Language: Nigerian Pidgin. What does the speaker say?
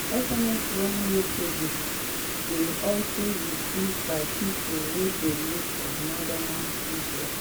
sms warning messages dey also received by pipo wey dey live for northern israel.